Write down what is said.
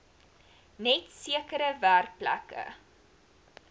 net sekere werkplekke